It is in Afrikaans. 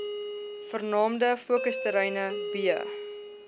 vernaamste fokusterreine b